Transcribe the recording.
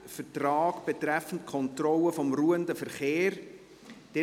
Vertrag betreffend Kontrolle des ruhenden Verkehrs […]».